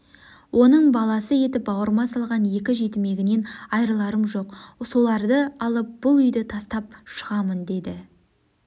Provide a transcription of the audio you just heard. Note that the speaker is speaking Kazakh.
оның баласы етіп бауырыма салған екі жетімегінен айрыларым жоқ соларды алып бұл үйді тастап шығамын деді